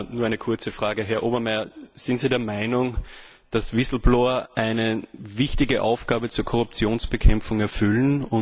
Nur eine kurze Frage Herr Obermayr, sind Sie der Meinung, dass eine wichtige Aufgabe für die Korruptionsbekämpfung erfüllen?